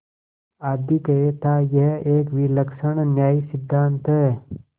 आधिक्य थायह एक विलक्षण न्यायसिद्धांत है